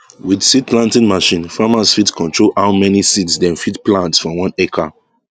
with seed planting machine farmers fit control how many seeds dem fit plant for one hectare